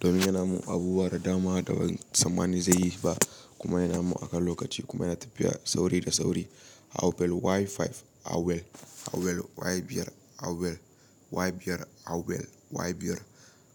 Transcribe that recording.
domin yana mun abubuwa da dama da ban tsammani zai yi ba kuma yana mun akan lokaci kuma yana tafiya sauri da sauri. Huawei Y5, Huawei, Huawei Y5, Huawei Y5, Huawei Y5